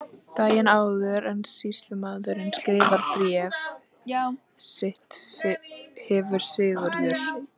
Daginn áður en sýslumaður skrifar bréf sitt hefur Sigurður